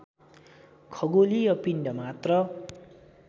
खगोलीय पिण्ड मात्र